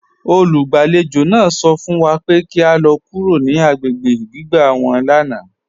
Olúgbálàgbà náà sọ̀ fún wà pé kí à lọ̀ kúrò ní agbègbè gbìgbà wọn lánà.